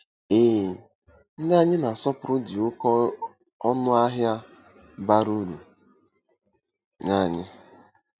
Ee, ndị anyị na-asọpụrụ dị oké ọnụ ahịa, bara uru nye anyị.